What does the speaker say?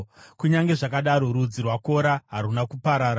Kunyange zvakadaro, rudzi rwaKora haruna kuparara.